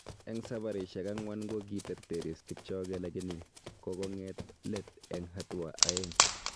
Eng sabarisyek ang'wan ko kiterteris Kipchoge lakini kokonge't let eng hatua aeng